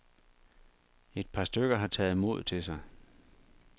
Et par stykker har taget mod til sig.